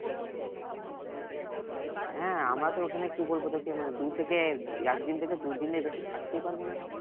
হ্যাঁ আমরা তো ওখানে কি বলবো তোকে মানে দূর থেকে একদিন থেকে দুদিনের বেশি থাকতেই পারবো না